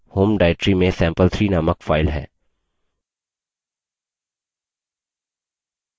हमारे पास हमारी home directory में sample3 named file है